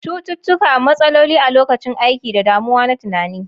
Cututtuka, matsaloli a lokacin aiki, da damuwa na tunani.